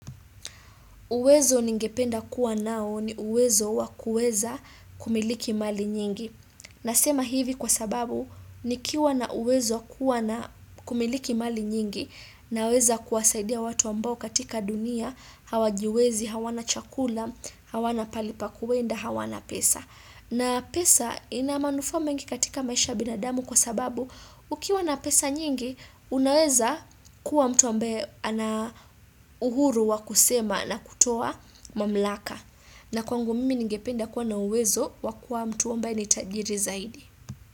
Uwezo ningependa kuwa nao ni uwezo wa kueza kumiliki mali nyingi. Nasema hivi kwa sababu nikiwa na uwezo wa kuwa na kumiliki mali nyingi naweza kuwasaidia watu ambao katika dunia hawajiwezi, hawana chakula, hawana pali pa kuenda, hawana pesa. Na pesa ina manufaa mengi katika maisha ya binadamu kwa sababu ukiwa na pesa nyingi unaweza kuwa mtu ambaye ana uhuru wa kusema na kutoa mamlaka. Na kwangu mimi ningependa kuwa na uwezo wa kuwa mtu ambaye ni tajiri zaidi.